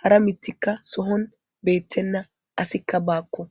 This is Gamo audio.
hara mitikka sohon beettenna asikka baakko